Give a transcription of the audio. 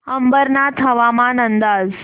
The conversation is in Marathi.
अंबरनाथ हवामान अंदाज